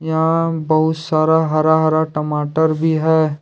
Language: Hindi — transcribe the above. यहां बहुत सारा हरा हरा टमाटर भी है।